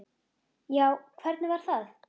Já, hvernig var það?